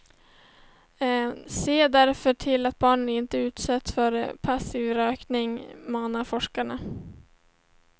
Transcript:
Se därför till att barn inte utsätts för passiv rökning, manar forskarna.